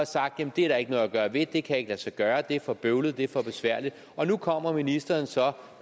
sagt at det er der ikke noget at gøre ved at det ikke kan lade sig gøre at det er for bøvlet at det er for besværligt og nu kommer ministeren så